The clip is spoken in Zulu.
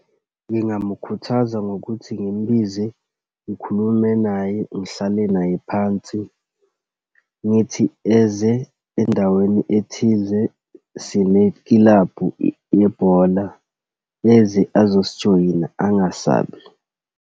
Ngingamukhuthaza ngokuthi ngimbize, ngikhulume naye, ngihlale naye phansi, ngithi eze endaweni ethize, sinekilabhu yebhola. Eze azosijoyina, angasabi.